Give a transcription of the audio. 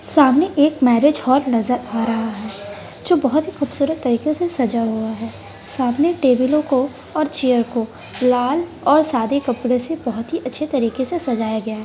सामने एक marriage hall नज़र आ रहा है जो बहुत ही खूबसूरत तरीके से सजा हुआ है सामने टेबलों को और चेयर को लाल और सादे कपड़े से बहुत ही अच्छे तरीके से सजाया गया है।